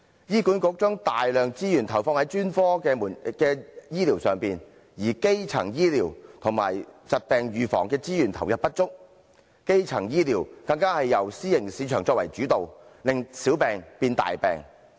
醫管局將大量資源投放在專科醫療上，但對基層醫療和疾病預防的資源投放不足，基層醫療更由私營市場作主導，令小病變大病。